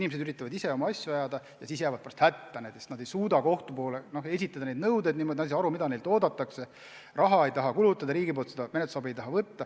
Inimesed üritavad ise oma asju ajada ja jäävad hätta, sest nad ei suuda kohtule oma nõudeid selgelt esitada, nad ei saa aru, mida neilt oodatakse, raha ei taha kulutada, riigilt menetlusabi ei taha võtta.